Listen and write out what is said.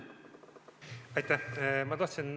Aitäh!